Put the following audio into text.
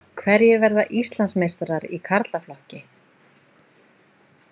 Hverjir verða Íslandsmeistarar í karlaflokki?